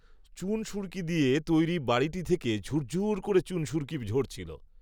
চুনসুরকি দিয়ে তৈরি বাড়িটি থেকে ঝূর ঝূর করে, চুনসুরকি ঝরছিল